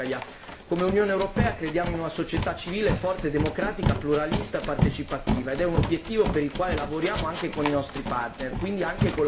Come Unione europea crediamo in una società civile forte e democratica, pluralista, partecipativa ed è un obiettivo per il quale lavoriamo anche con i nostri partner, quindi anche con la Russia.